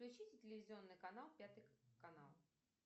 включите телевизионный канал пятый канал